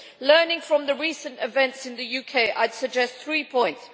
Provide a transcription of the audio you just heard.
Learning from the recent events in the UK, I would suggest three points.